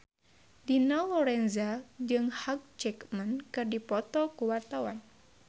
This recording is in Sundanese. Dina Lorenza jeung Hugh Jackman keur dipoto ku wartawan